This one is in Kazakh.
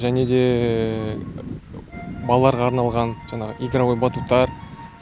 және де балаларға арналған жаңағы игровой батуттар